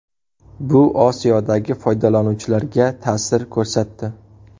Bu Osiyodagi foydalanuvchilarga ta’sir ko‘rsatdi.